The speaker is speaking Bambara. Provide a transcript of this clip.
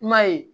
Kuma ye